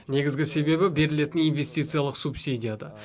негізгі себебі берілетін инвестициялық субсидияда